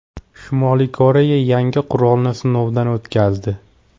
Shimoliy Koreya yangi qurolni sinovdan o‘tkazdi.